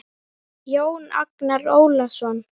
Jón Agnar Ólason